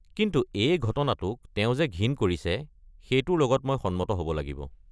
কিন্তু এই ঘটনাটোক তেওঁ যে ঘিণ কৰিছে সেইটোৰ লগত মই সন্মত হ'ব লাগিব।